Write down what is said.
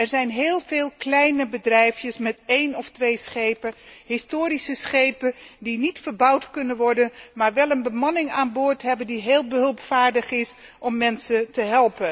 Er zijn heel veel kleine bedrijfjes met 1 of 2 schepen, historische schepen die niet verbouwd kunnen worden, maar wel een bemanning hebben die heel hulpvaardig is en mensen bijstaat.